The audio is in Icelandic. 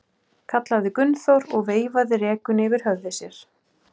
kallaði Gunnþór og veifaði rekunni yfir höfði sér.